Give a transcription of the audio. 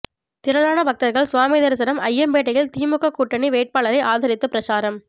திரளான பக்தர்கள் சுவாமி தரிசனம் அய்யம்பேட்டையில் திமுக கூட்டணி வேட்பாளரை ஆதரித்து பிரசாரம்